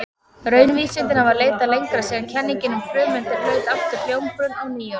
Raunvísindin hafa leitað lengra síðan kenningin um frumeindir hlaut aftur hljómgrunn á nýöld.